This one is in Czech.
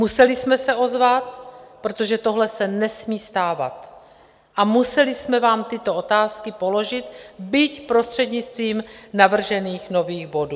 Museli jsme se ozvat, protože tohle se nesmí stávat, a museli jsme vám tyto otázky položit, byť prostřednictvím navržených nových bodů.